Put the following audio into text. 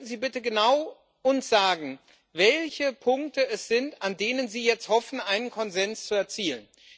Könnten Sie uns bitte genau sagen, welche Punkte es sind, an denen Sie jetzt hoffen, einen Konsens zu erzielen?